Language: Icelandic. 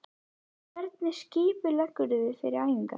Hvernig skipuleggurðu þig fyrir æfingar?